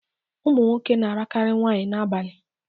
Ụmụnwoke na arakari nwaanyị na abani